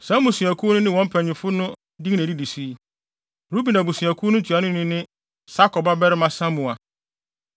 Saa mmusuakuw no ne wɔn mpanyimfo no din na edidi so yi: Ruben abusuakuw no ntuanoni ne Sakur babarima Samua;